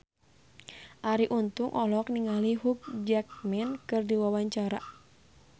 Arie Untung olohok ningali Hugh Jackman keur diwawancara